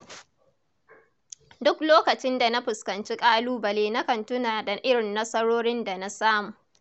Duk lokacin da na fuskanci ƙalubale nakan tuna da irin nasarorin da na samu.